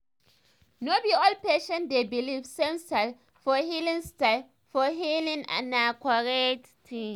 no be all patients dey believe same style for healing style for healing and na correct thing